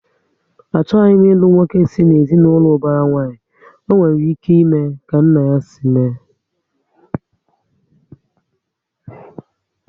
Achọghị m ilu nwoke si na ezinaụlọ ubara nwanyi, ọ nwere ike ime ka nna ya si mee